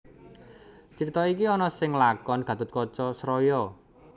Crita iki ana ing lakon Gathotkaca Sraya